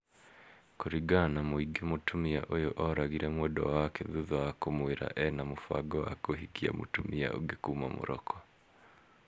kũringana na mũingĩ mũtumia ũyũ oragire mwendwa wake thutha wa kũmwira ena mũbango wa kũhikia mũtumia ũngi kuma morocco